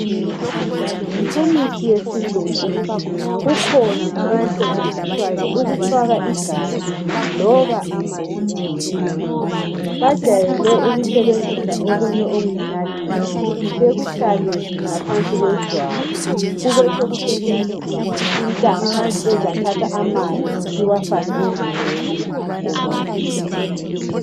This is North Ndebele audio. kumithi yesilungu kukhona okusetshenziswayo ukufaka igazi loba amanzi emzimbeni bajwayele ukusebenzisa okunye okulinalithi bekufake ngaphansi kwejwabu kubesekutshenziswa intambo ezathatha amanzi iwafake emzimbeni womuntu